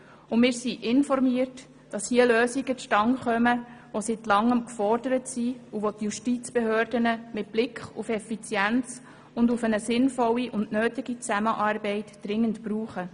Wir wurden informiert, dass hier Lösungen zustande kommen, die seit Langem gefordert sind und welche die Justizbehörden mit Blick auf Effizienz und auf eine sinnvolle und nötige Zusammenarbeit dringend brauchen.